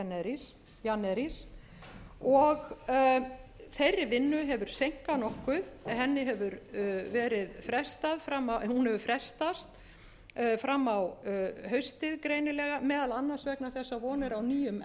carlo jännäris og þeirri vinnu hefur seinkað nokkuð hún hefur frestast fram á haustið greinilega meðal annars vegna þess að von er á nýjum